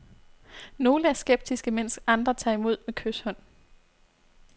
Nogle er skeptiske, mens andre tager imod med kyshånd.